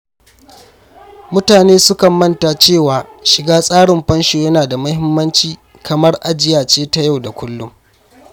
Mutane sukan manta cewa shiga tsarin fansho yana da muhimmanci kamar ajiya ce ta yau da kullum.